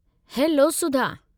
Hello, Sudha!